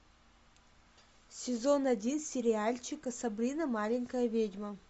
сезон один сериальчика сабрина маленькая ведьма